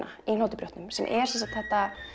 í Hnotubrjótnum sem er sem sagt þetta